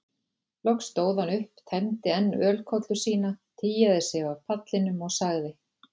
Loks stóð hann upp, tæmdi enn ölkollu sína, tygjaði sig af pallinum og sagði